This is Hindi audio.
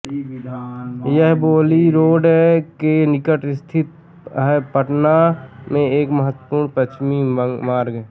यह बेली रोड के निकट स्थित है पटना में एक महत्वपूर्ण पश्चिमी मार्ग